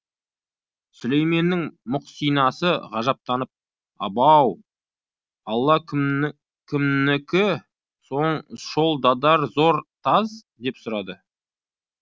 сүлейменнің мұқсинасы ғажаптанып абау алла кімнікі соң шол дадар зор таз деп сұрады